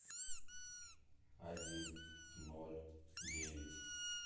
один ноль девять